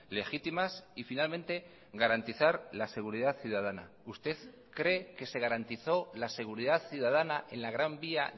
legítimas y finalmente garantizar la seguridad ciudadana usted cree que se garantizó la seguridad ciudadana en la gran vía